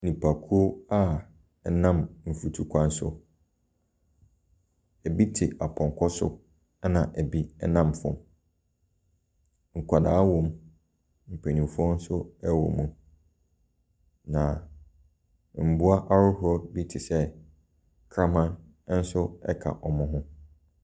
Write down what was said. Nnipakuo a wɔnam mfutukwan so, ɛbi te apɔnkɔ so, ɛna ɛbi nam fam. Nkwadaa wɔ mu, mpanimfoɔ nso wɔ mu, na mmoa ahodoɔ bi te sɛ krama ka wɔn ho.